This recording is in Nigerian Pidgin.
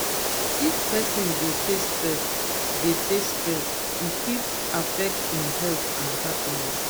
if person dey face stress dey face stress e fit affect e health and happiness.